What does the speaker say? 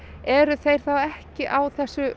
eru þeir þá ekki á þessu